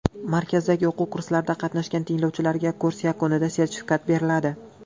Markazdagi o‘quv kurslarida qatnashgan tinglovchilarga kurs yakunida sertifikat beriladi.